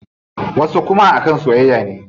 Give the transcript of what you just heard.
Wasu kuma a kan soyayya ne.